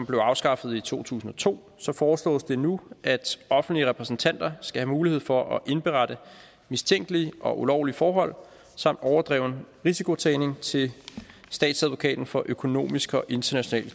blev afskaffet i to tusind og to foreslås det nu at offentlige repræsentanter skal have mulighed for at indberette mistænkelige og ulovlige forhold samt overdreven risikotagning til statsadvokaten for særlig økonomisk og international